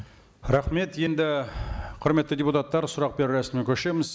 рахмет енді құрметті депутаттар сұрақ беру рәсіміне көшеміз